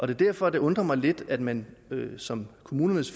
derfor det undrer mig lidt at man som kommunernes